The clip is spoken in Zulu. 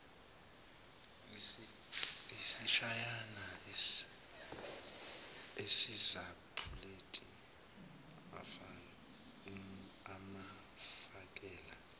isitshanyana esisapuleti amfakele